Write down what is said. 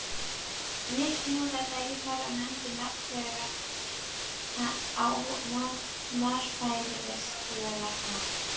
Nikki notaði tækifærið og nefndi nafn hennar á varfærnislegan hátt.